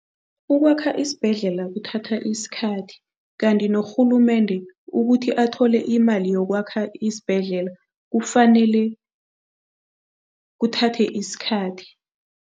Ukwakha isibhedlela kuthatha isikhathi kanti norhulumende ukuthi athole imali yokwakha isibhedlela, kufanele kuthathe isikhathi.